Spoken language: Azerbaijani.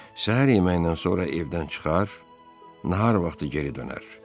Səhər yeməyindən sonra evdən çıxar, nahar vaxtı geri dönərdi.